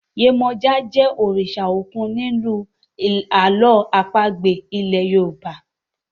Yemoja jé òrìṣà òkun nínú àlọ́ àpagbè ilè yorùbá.